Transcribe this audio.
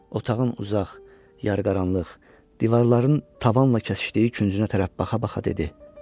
Otağın uzaq, yarıqaranlıq, divarların tavanla kəsişdiyi küncünə tərəf baxa-baxa dedi.